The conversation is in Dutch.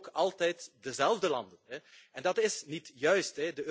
Ook altijd dezelfde landen en dat is niet juist.